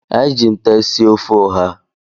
Anyị ji nte sie ofe ụha.